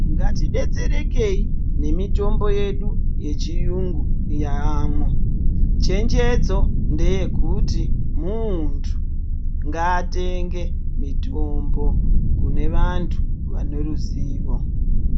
Ngatidetserekei nemitombo yedu yechirungu yamwo chenjedzo ndeye kuti muntu ngatenge mitombo kune vantu vane ruzivo.